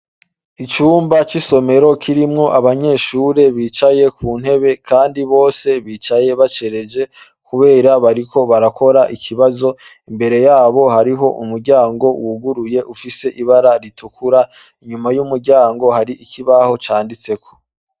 Icumba c'isomero kirimwo abanyeshure bicaye ku ntebe Kandi bose bicaye bacereje kubera bariko barakora ikibazo, imbere yaho hariho umuryango wuguruye ufise ibara ritukura, inyuma yu muryango hari ikibaho canditseko.